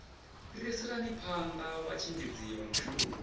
fhiriselani phanda vhatshimbidzi vha mushumo